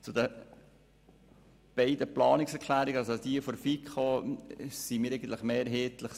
Zu den beiden Planungserklärungen: Jene der FiKo unterstützen wir mehrheitlich.